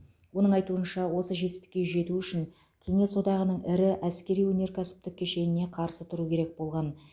оның айтуынша осы жетістікке жету үшін кеңес одағының ірі әскери өнеркәсіптік кешеніне қарсы тұру керек болған